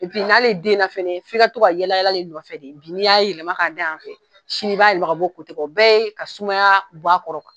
n'ale denna f'i ka to ka to ka yala yala ale nɔfɛ de bi n'i y'a yɛlɛma ka da yan fɛ sini b'a yɛlɛma ka bɔ o kan, o bɛ ye ka sumaya bɔ a kɔrɔ .